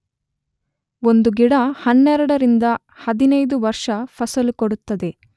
ಒಂದು ಗಿಡ 12 ರಿಂದ 15 ವರ್ಷ ಫಸಲು ಕೊಡುತ್ತದೆ.